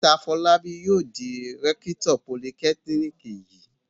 Mr Fọlábí yóò di rẹ́kítọ̀ politẹ́kíníkì yìí.